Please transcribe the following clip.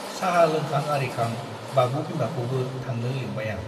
चाहा लोंखां आरिखां बाबु बिमाखौबो थांनो लिंबाय आं ।